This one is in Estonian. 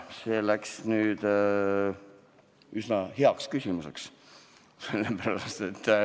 See läks nüüd üsna heaks küsimuseks.